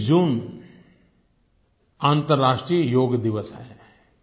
21 जून अन्तर्राष्ट्रीय योग दिवस है